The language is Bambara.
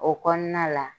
O kɔnɔna la